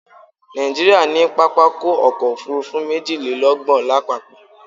Nàìjíríà ní pápákọ̀ ọ̀kọ òfurufú méjìlélọ́gbọ̀n lápapọ̀